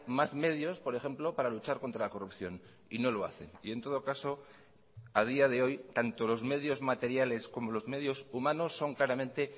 más medios por ejemplo para luchar contra la corrupción y no lo hacen y en todo caso a día de hoy tanto los medios materiales como los medios humanos son claramente